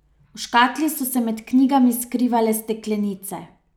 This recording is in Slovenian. V škatli so se med knjigami skrivale steklenice.